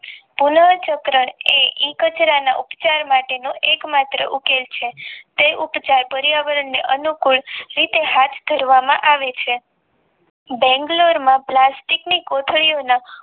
પુનઃ ચક્ર એ કચરાના ઉપચાર માટેના એક માત્ર ઉકેલ છે તે ઉપકાર પર્યાવરણને અનુકૂળ અરીતે સાથ ધરવામાં આવે છે બેંગ્લોરમાં પ્લાસ્ટિક કોથળીઓના